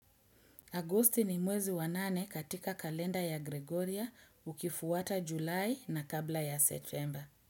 Agosti ni mwezi wa nane katika kalenda ya Gregoria ukifuata Julai na kabla ya Septemba.